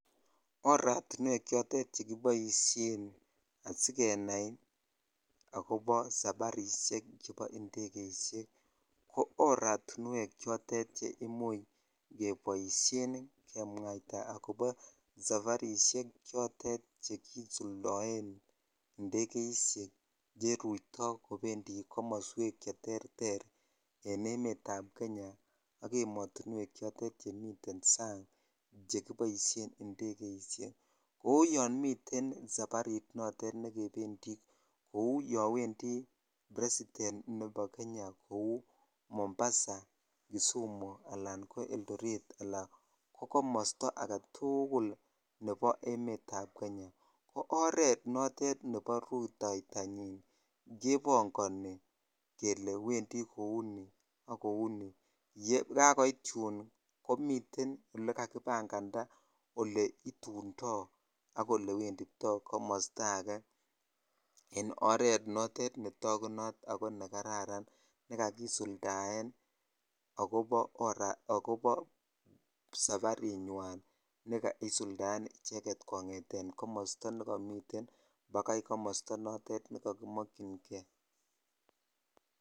Oratiwek chotet chekiboisien asikenai akobo safarishek chebo indegeishek ko oratiwek chotet che imuch keboisien kemwaita akobo safarishek chotet chekisuldoen indegeshek cheruto chebendi komoswek cheterter en emet ab Kenya ak ematuwek chotet chemiten sang chekiboisuen indegeishek kou yon miten safarit not chekebendi kou yon wendi president nebo Kenya kou mombasa, kisumu alan ko eldoret alan ko komosto alak tukul nebo emet ab Kenya ko oret notet nebo rutotanyin kebongoni kele wendi kouni ak kouni yekakoit yun kobanganak oleitundoi ak olewenditoi komosto ake en oret notet netakunot ako nekararan nekakisuldaen akobo safarinywan nekaisuldaen en komosto nekomiten bakai komosto notet nekokimokyin kei.